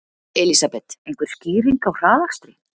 Elísabet: Einhver skýring á hraðakstri?